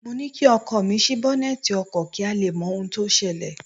Mo ní kí ọkọ mi ṣí bọ́nẹ́tì ọkọ̀ kí a lè mọ ohun tó ṣẹlẹ̀